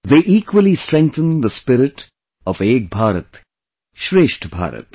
They equally strengthen the spirit of 'Ek BharatShreshtha Bharat'